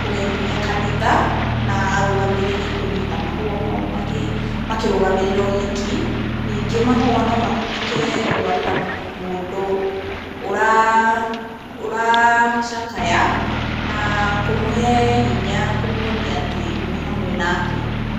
kũgemia kanitha na arũgamĩrĩri kũnyita mahũa mau makĩrũgamĩrĩra ũhiki. Ningĩ mahũa no matũmĩke gũtwarĩra mũndũ ũracakaya na kũmũhe hinya kũmuonia atĩ mwĩ hamwe nake.